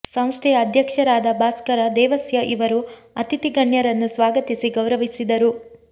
ಸಂಸ್ಥೆಯ ಅಧ್ಯಕ್ಷರಾದ ಭಾಸ್ಕರ ದೇವಸ್ಯ ಇವರು ಅತಿಥಿ ಗಣ್ಯರನ್ನು ಸ್ವಾಗತಿಸಿ ಗೌರವಿಸಿದರು